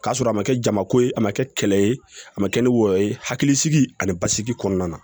K'a sɔrɔ a ma kɛ jamako ye a ma kɛ kɛlɛ ye a ma kɛ ni wɔyɔ ye hakilisigi ani basigi kɔnɔna na